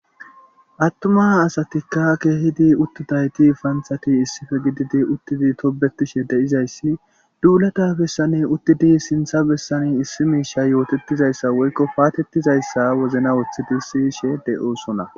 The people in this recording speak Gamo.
Atuma asatika keehidi utidayti panthati issipe gididi tobetishe de'izaysi dulata bessam uttidi sintha bessani issi mishay yotetizaysa woyko patetizaysa wozana wothodi siyishe de'osnonba